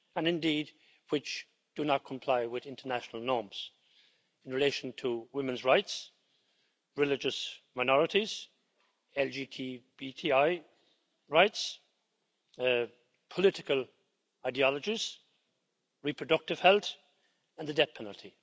And indeed, which do not comply with international norms in relation to women's rights, religious minorities, LGTBTI rights, political ideologies, reproductive health and the death penalty.